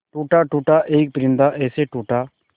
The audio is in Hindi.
टूटा टूटा एक परिंदा ऐसे टूटा